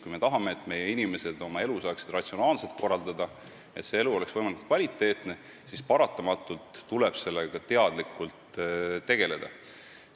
Kui me tahame, et meie inimesed saaksid ratsionaalselt oma elu korraldada, nii et see oleks võimalikult kvaliteetne, siis paratamatult tuleb sellega teadlikult tegeleda.